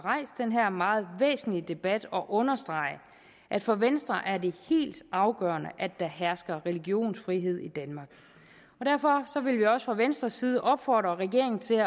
meget væsentlige debat og understrege at for venstre er det helt afgørende at der hersker religionsfrihed i danmark derfor vil vi også fra venstres side opfordre regeringen til